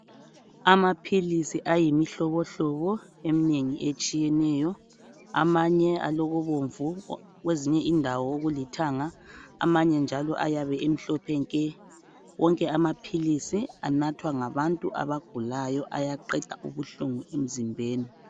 Amaphilizi ayimihlobo hlobo eminengi etshiyeneyo, amanye alokubomvu kwezinye indawo kulithanga, amanye njalo ayabe emhlophe nke wonke amaphilisi anathwa ngabantu abagulayo ayaqeda ubuhlungu emzimbeni.